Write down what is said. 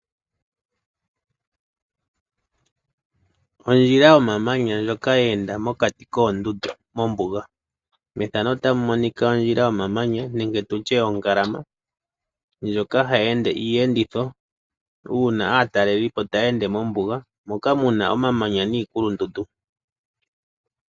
Ondjila yomamanya ndjoka yeenda mokati koondundu mombuga. Methano otamu monika ondjila yomamanya nenge tutye ongalama ndjoka hayi ende iiyenditho uuna aataleli po taya ende mombuga moka mu na omamanya niikulundundu.